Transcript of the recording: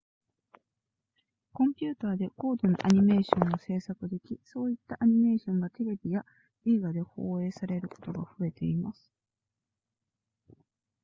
コンピューターで高度なアニメーションを制作できそういったアニメーションがテレビや映画で放映されることが増えています